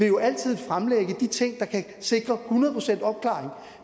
jo altid fremlægge de ting der kan sikre hundrede procents opklaring